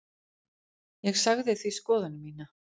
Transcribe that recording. Ég sagði því skoðun mína.